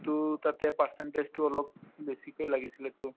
to তাতে percentage তো অলপ বেছিকে লাগিছিলেতো